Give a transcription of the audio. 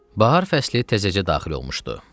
Bahar fəsli təzəcə daxil olmuşdu.